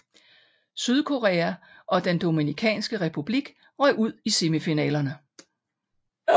Sydkorea og den Dominikanske Republik røg ud i semifinalerne